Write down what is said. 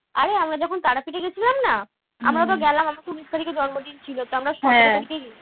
আরে আমরা যখন তারাপীঠে গেছিলাম না আমরা তো গেলাম আমরার ঊনিশ তারিখে জন্মদিন ছিল তো